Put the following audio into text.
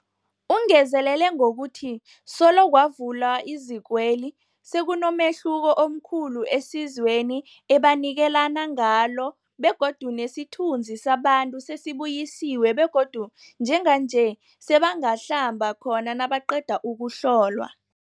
Ungezelele ngokuthi solo kwavulwa izikweli, sekunomehluko omkhulu esizweni ebanikelana ngalo begodu nesithunzi sabantu sesibuyisiwe begodu njenganje sebangahlamba khona nabaqeda ukuhlolwa.